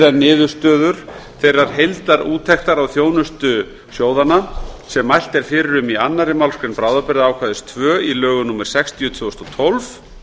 en niðurstöður þeirrar heildarúttektar á þjónustu sjóðanna sem mælt er fyrir í annarri málsgrein bráðabirgðaákvæði tvö í lögum númer sextíu tvö þúsund og tólf